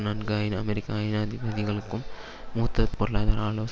நான்காயின் அமெரிக்க ஐனாதிபதிகளுக்கும் மூத்த பொருளாதார ஆலோச